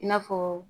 I n'a fɔ